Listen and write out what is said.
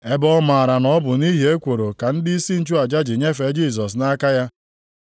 Ebe ọ maara na ọ bụ nʼihi ekworo ka ndịisi nchụaja ji nyefee Jisọs nʼaka ya.